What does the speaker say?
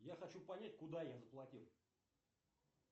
я хочу понять куда я заплатил